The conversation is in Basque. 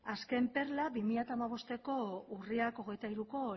azken perla bi mila hamabosteko urriak hogeita hiruko